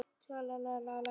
Alltaf glatt á hjalla.